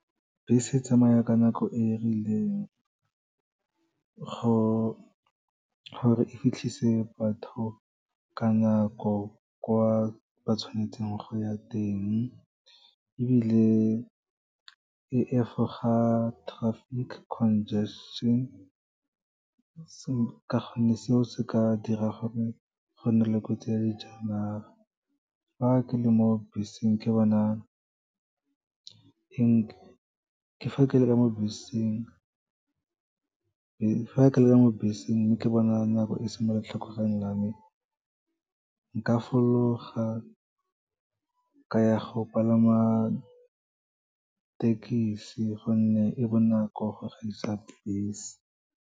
Bese e tsamaya ka nako e rileng, gore e fitlhise batho ka nako kwa ba tshwanetseng go ya teng, ebile e efoga traffic congestion, ka gonne seo se ka dira gore go nne le kotsi ya dijanaga. Fa ke le ka mo beseng mme ke bona nako e se ka mo letlhakoreng la me, nka fologa ka ya go palama thekisi gonne e bonako go gaisa bese.